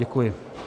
Děkuji.